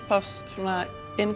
svona